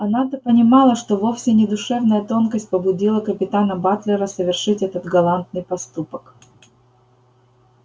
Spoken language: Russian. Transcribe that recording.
она-то понимала что вовсе не душевная тонкость побудила капитана батлера совершить этот галантный поступок